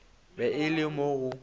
be e le mo go